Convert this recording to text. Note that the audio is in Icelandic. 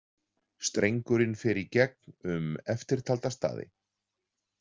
Strengurinn fer í gegn um eftirtalda staði.